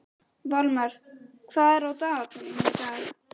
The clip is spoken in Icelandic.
Valmar, hvað er á dagatalinu í dag?